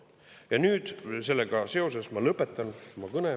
Ja nüüd sellega seoses ma lõpetan oma kõne.